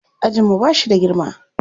Ajin mu ba shi da girma.